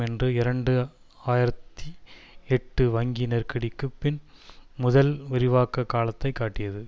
என்று இரண்டு ஆயிரத்தி எட்டு வங்கி நெருக்கடிக்கு பின் முதல் விரிவாக்க காலத்தை காட்டியது